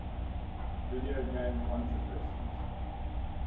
video game controversies